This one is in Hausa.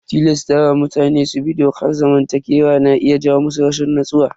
Tilasta wa mutane su bi dokar zamantakewa na iya jawo musu rashin natsuwa.